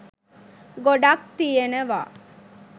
ගොඩක් තියෙනවා